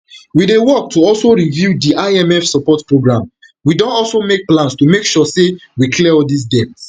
we dey work to also review di imf support programme we don also make plans to make sure say we clear all dis debts